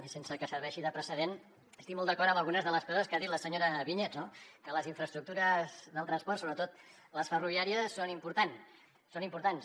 i sense que serveixi de precedent estic molt d’acord amb algunes de les coses que ha dit la senyora vinyets no que les infraestructures del transport sobretot les ferroviàries són importants